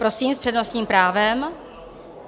Prosím, s přednostním právem.